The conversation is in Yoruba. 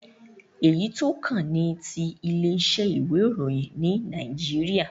Èyí tó kàn ni ti ilé isẹ́ ìwé ìróyìn ní Naijiria